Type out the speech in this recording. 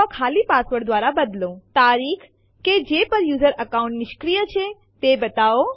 આપણે i interactive વિકલ્પ નો પણ ઉપયોગ કરી શકીએ છીએ આ આપણને દરેક ડેસ્ટીનેશન ફાઈલ ને ઓવરરાઇટ કરતા પેહલા હંમેશા ચેતવે છે